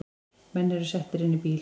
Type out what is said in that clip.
Menn eru settir inn í bíl